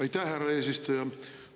Aitäh, härra eesistuja!